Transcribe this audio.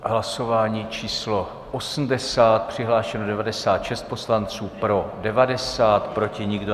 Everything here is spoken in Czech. Hlasování číslo 80, přihlášeno 96 poslanců, pro 90, proti nikdo.